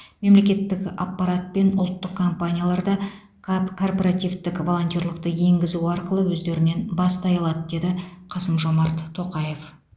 мемлекеттік аппарат пен ұлттық компаниялар да кап корпоративтік волонтерлікті енгізу арқылы өздерінен бастай алады деді қасым жомарт тоқаев